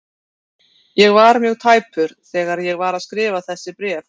Ég var mjög tæpur þegar ég var að skrifa þessi bréf.